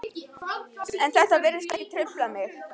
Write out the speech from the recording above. En þetta virtist ekki trufla mig.